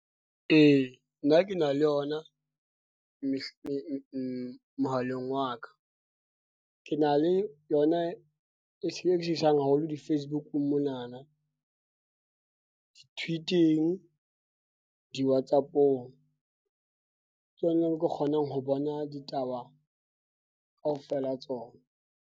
E, nna ke na le yona mohaleng wa ka, ke na le yona e seng e haholo di-Facebook-ung mona na tweet-ing, di-whatsapp-ong. Ke yona ke kgonang ho bona ditaba kaofela tsona.